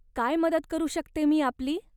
काय मदत करू शकते मी आपली?